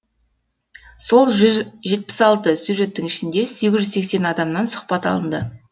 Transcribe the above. сол жүз жетпіс алты сюжеттің ішінде сегіз жүз сексен адамнан сұхбат алынды